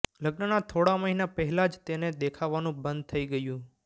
લગ્નના થોડા મહિના પહેલા જ તેને દેખાવાનું બંધ થઈ ગયું